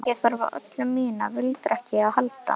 Ég þarf á öllu mínu viljaþreki að halda.